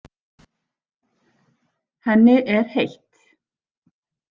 Henni er heitt.